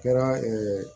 Kɛra